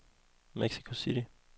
Mexico City